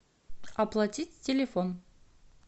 оплатить телефон